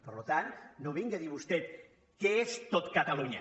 per tant no vingui a dir vostè que és tot catalunya